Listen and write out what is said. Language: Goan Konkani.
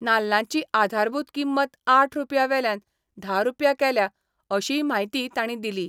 नाल्लांची आधारभूत किंमत आठ रूपयां वेल्यान धा रूपया केल्या अशीय म्हायती तांणी दिली.